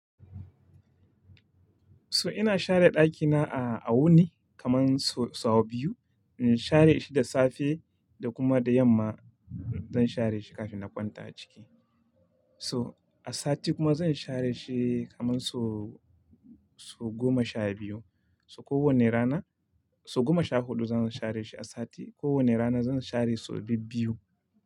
So ina share ɗakina a, a wuni kaman so sau biyu. Share shi da safe da kuma da yamma zan share shi kafin na kwanta a ciki. So a sati kuma zan share shi kaman so, so goma sha biyu. So kowani rana, so goma sha huɗu zan share shi a sati. Kowani rana zan share so biyu biyu.